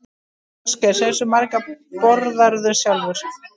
Ásgeir: Hversu margar borðarðu sjálfur?